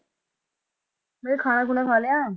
ਮੈਂ ਕਿਹਾ ਖਾਣ ਖੂਣਾ ਖਾ ਲਿਆ?